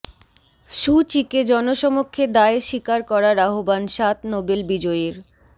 সু চিকে জনসমক্ষে দায় স্বীকার করার আহ্বান সাত নোবেল বিজয়ীর